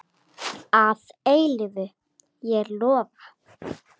Að eilífu, ég lofa.